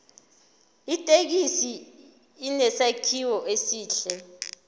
ithekisi inesakhiwo esihle